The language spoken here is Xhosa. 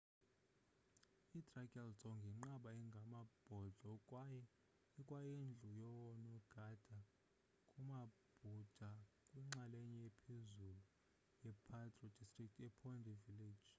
idrukgyal dzong yinqaba engamabhodlo kwaye ikwayindlu yoonongendi bamabhuda kwinxalenye ephezulu ye-paro district ephondey village